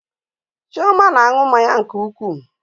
Chioma na-aṅụ mmanya nke ukwuu